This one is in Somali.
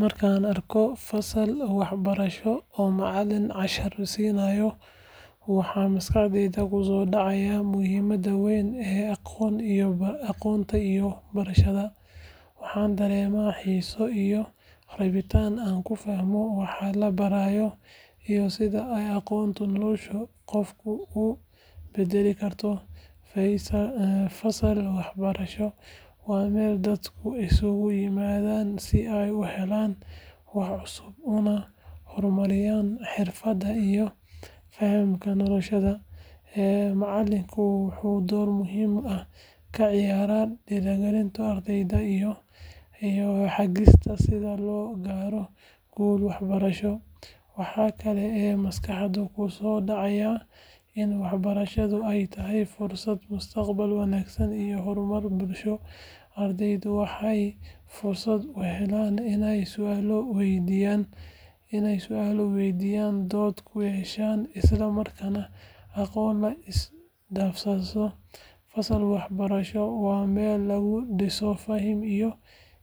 Markaan arko fasal waxbarasho oo macallin cashar siinayo, waxa maskaxdayda ku soo dhacaya muhiimadda weyn ee aqoonta iyo barashada. Waxaan dareemaa xiiso iyo rabitaan aan ku fahmo waxa la barayo iyo sida ay aqoontu nolosha qofka u bedeli karto. Fasal waxbarasho waa meel dadku isugu yimaadaan si ay u helaan wax cusub, una horumariyaan xirfadaha iyo fahamka nolosha. Macallinku wuxuu door muhiim ah ka ciyaaraa dhiirrigelinta ardayda iyo hagista sida loo gaaro guul waxbarasho. Waxa kale oo maskaxda ku soo dhacaya in waxbarashadu ay tahay furaha mustaqbal wanaagsan iyo horumar bulsho. Ardaydu waxay fursad u helaan inay su’aalo weydiiyaan, dood ku yeeshaan, isla markaana aqoon la isdhaafsado. Fasal waxbarasho waa meel lagu dhiso hami